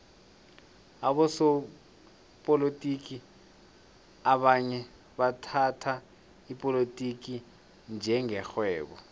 abosopolotiki abanye bathhatha ipolotiki njenge rhwebo